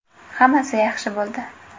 Hammasi yaxshi bo‘ldi.